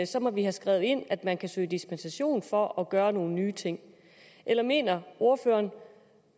så må vi have skrevet ind at man kan søge dispensation for at kunne gøre nogle nye ting eller mener ordføreren